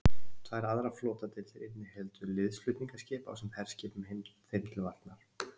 tvær aðrar flotadeildir innihéldu liðsflutningaskip ásamt herskipum þeim til varnar